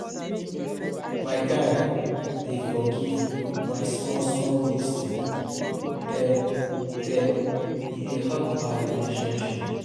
My guy dey forgive my small-small mistake dem, dem, e dey help our relationship.